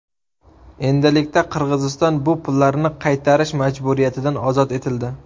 Endilikda Qirg‘iziston bu pullarni qaytarish majburiyatidan ozod etildi.